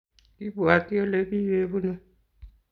Kipwoti olekikipunuu